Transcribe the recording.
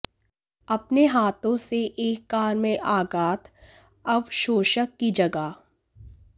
अपने हाथों से एक कार में आघात अवशोषक की जगह